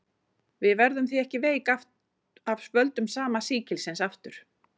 Við verðum því ekki veik af völdum sama sýkilsins aftur.